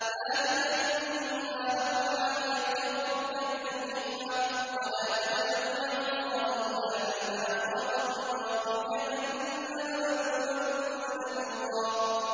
ذَٰلِكَ مِمَّا أَوْحَىٰ إِلَيْكَ رَبُّكَ مِنَ الْحِكْمَةِ ۗ وَلَا تَجْعَلْ مَعَ اللَّهِ إِلَٰهًا آخَرَ فَتُلْقَىٰ فِي جَهَنَّمَ مَلُومًا مَّدْحُورًا